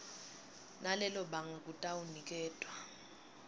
nalelo banga kutawuniketwa